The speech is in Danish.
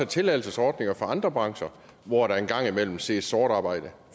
tilladelsesordninger for andre brancher hvor der en gang imellem ses sort arbejde